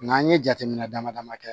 N'an ye jateminɛ dama dama kɛ